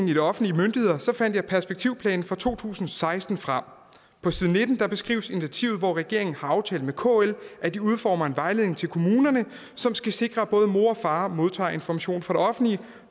de offentlige myndigheder fandt jeg perspektivplanen fra to tusind og seksten frem på side nitten beskrives initiativet hvor regeringen har aftalt med kl at de udformer en vejledning til kommunerne som skal sikre at både mor og far modtager information fra det offentlige